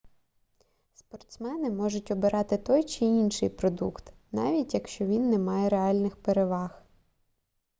спортсмени можуть обирати той чи інший продукт навіть якщо він не має реальних переваг